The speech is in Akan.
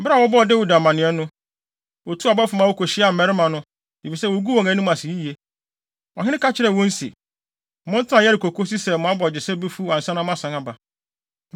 Bere a wɔbɔɔ Dawid amanneɛ no, otuu abɔfo ma wokohyiaa mmarima no, efisɛ woguu wɔn anim ase yiye. Ɔhene ka kyerɛɛ wɔn se, “Montena Yeriko kosi sɛ mo abogyesɛ befuw ansa na moasan aba.”